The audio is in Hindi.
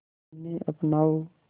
इन्हें अपनाओ